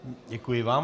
Děkuji vám.